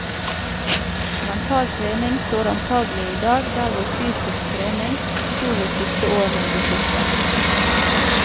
Mental trening står antagelig i dag der hvor fysisk trening sto ved siste århundreskifte.